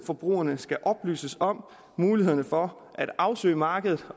forbrugerne skal oplyses om mulighederne for at afsøge markedet